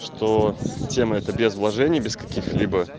что тема эта без вложений без каких-либо